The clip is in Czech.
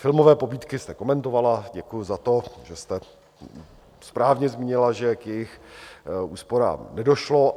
Filmové pobídky jste komentovala, děkuji za to, že jste správně zmínila, že k jejich úsporám nedošlo.